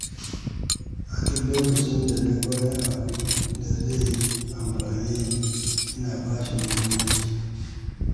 A duk lokacin da naga wani abu da zai amfane ni, ina bashi muhimmanci.